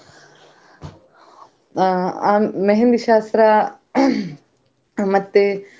ಅಹ್ मेहंदी ಶಾಸ್ತ್ರ ಮತ್ತೆ.